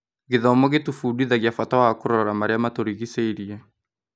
Gĩthomo gĩtũbundithagia bata wa kũrora marĩa matũrigicĩirie.